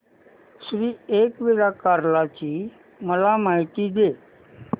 श्री एकविरा कार्ला ची मला माहिती दे